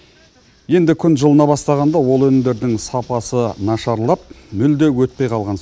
енді күн жылына бастағанда ол өнімдердің сапасы нашарлап мүлде өтпей қалған